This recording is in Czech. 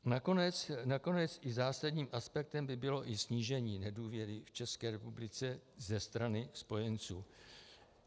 Nakonec i zásadním aspektem by bylo i snížení (?) nedůvěry v České republice ze strany spojenců.